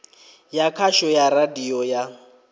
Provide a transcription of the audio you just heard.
ya khasho ya radio ya